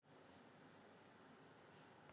Magnús Hlynur: Og eiga Kínverjar nóg af peningum?